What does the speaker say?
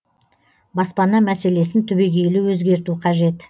баспана мәселесін түбегейлі өзгерту қажет